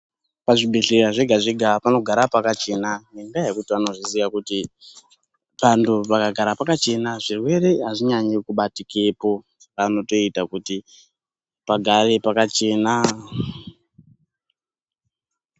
Pazvibhedhleya zvega zvega panogara pakachena ngendaa yekuti anozviziya thando pangagara pakachena, zvirwere azvinyanyi kubatikepo panotoita kuti pagare pakachena.